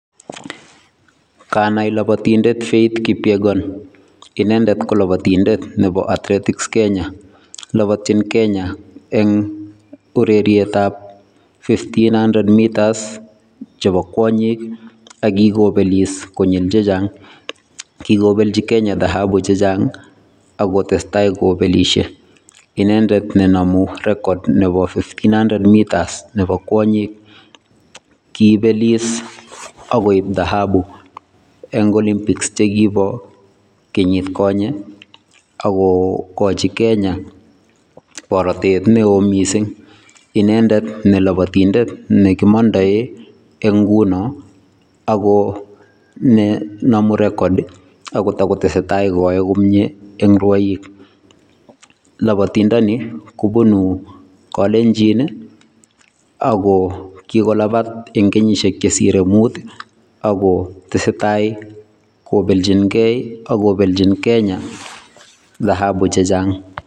Kanai lobotindet Faith kipyegon, inendet ko lobotindet nebo athletics Kenya, lobotyin Kenya eng' urerietab [vs] fifteen hundred metres chebo kwonyik ak kikobelis konyil chechang, kikobelchi Kenya dahabu chechang ak kotesta kobelishe, inendet nenomu rekod nebo fifteen hundred metres nebo kwonyik, kobelis AK koib dahabu eng' olimpics chekibo kenyit konye ak kokochi Kenya borotet neoo kot mising, inendet ko lobotindet nekimondoen eng' ng'unon ak ko nomu rekod ak ko tokotesetai koyoe komie eng' rwoik, lobotindoni kobunu kolenjin ak ko kikolabat eng' kenyishek chesire muut ak ko tesetai kobelching'e ak ko belchin Kenya dahabu chechang.